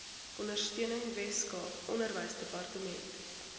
ondersteuning weskaap onderwysdepartement